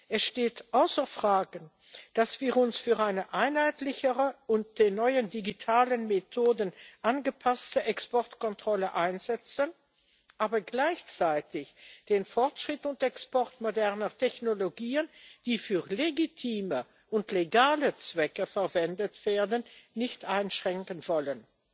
Es steht außer Frage, dass wir uns für eine einheitlichere und den neuen digitalen Methoden angepasste Exportkontrolle einsetzen, aber gleichzeitig den Fortschritt und Export moderner Technologien, die für legitime und legale Zwecke verwendet werden, nicht einschränken wollen.